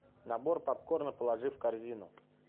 набор попкорна положи в корзину